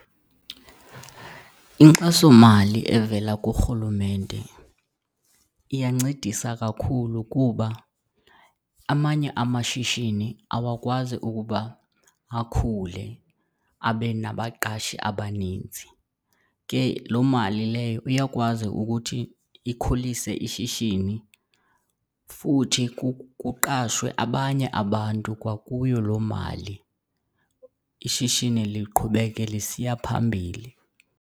Inkxasomali evela kuRhulumente iyancedisa kakhulu kuba amanye amashishini awakwazi ukuba akhule abe nabaqashi abaninzi. Ke loo mali leyo uyakwazi ukuthi ikhulise ishishini futhi kuqashwe abanye abantu kwakuyo loo mali, ishishini liqhubeke lisiya phambili.